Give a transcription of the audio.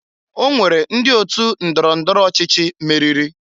O nwere ndị otu ndọrọ ndọro ọchịchị meriri.